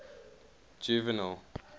juvenal